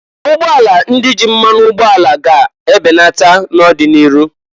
Ugbọala ndị ji mmanụ ụgboala a ga ga ebenata n'ọdị n'iru.